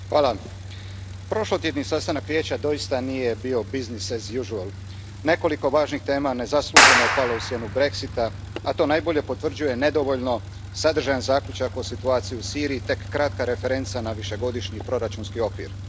Poštovana predsjedavajuća, prošlotjedni sastanak Vijeća doista nije bio business as usual. Nekoliko važnih tema nezasluženo je palo u sjenu Brexita, a to najbolje potvrđuje nedovoljno sadržajan zaključak o situaciji u Siriji i tek kratka referenca na višegodišnji proračunski okvir.